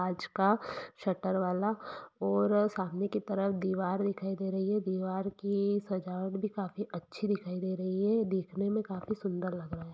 काँच का शटर वाला और सामने की तरफ दीवार दिखाई दे रही है दीवार की सजावट भी काफी अच्छी दिखाई दे रही है देखने में काफी सुन्दर लग रहा है।